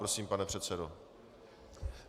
Prosím, pane předsedo.